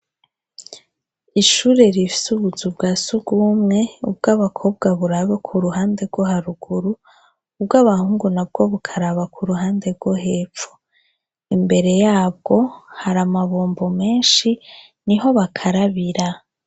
Ishure rifise ubuzu bwa sugumwe, ubwabakobwa burabe ku ruhande rwo haruguru, ubwo abahungu na bwo bukaraba ku ruhande rwo hepfo, imbere yabwo har’amabombo menshi ni ho bakarabira.